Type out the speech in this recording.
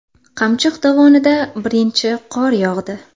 Qamchiq dovonida birinchi qor yog‘di .